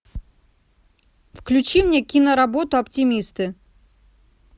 включи мне киноработу оптимисты